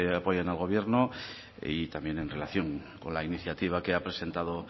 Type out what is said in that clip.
apoyan al gobierno y también en relación con la iniciativa que ha presentado